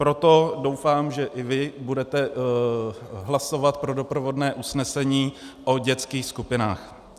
Proto doufám, že i vy budete hlasovat pro doprovodné usnesení o dětských skupinách.